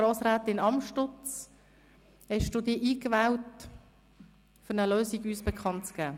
Grossrätin Amstutz, haben Sie sich angemeldet, um uns eine Lösung bekannt zu geben?